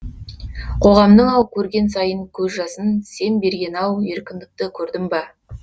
қоғамның ау көрген сайын көз жасын сен берген ау еркіндікті көрдім ба